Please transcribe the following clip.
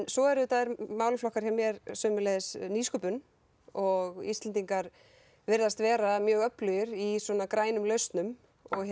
svo eru málaflokkar hjá mér sömuleiðis nýsköpun og Íslendingar virðast vera mjög öflugir í grænum lausnum